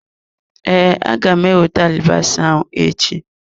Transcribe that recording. Ee, aga m ewete alibasa ahụ echi.